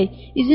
Neynəyək?